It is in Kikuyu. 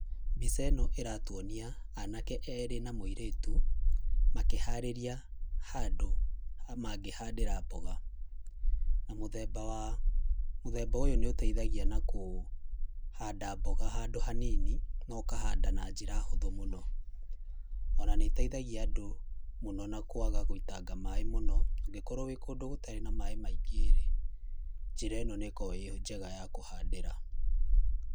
Mbica ĩno ĩratwonia anake erĩ na mũirĩtu makĩharĩria handũ mangĩhandĩra mboga na mũthemba ũyũ nĩ ũteithagia kũhanda mboga handũ hanini na ũkanda na njĩra hũthũ mũno ona nĩ ĩteithagia andũ mũno na kwaga gũitanga maĩ maingĩ mũno, ũngĩkorwo wĩ kũndũ gũtarĩ na maĩ maingĩ rĩ, njĩra ĩno nĩ koragwo ĩrĩ njega ya kũhandĩra.